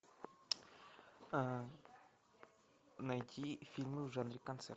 найти фильмы в жанре концерт